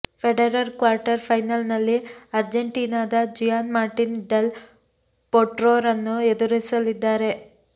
Federer quarter ಫೈನಲ್ನಲ್ಲಿ ಅರ್ಜೆಂಟೀನದ Juan Martin del ಪೊಟ್ರೊರನ್ನು ಎದುರಿಸಲಿದ್ದಾರೆ